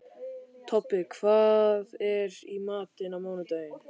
Tobbi, hvað er í matinn á mánudaginn?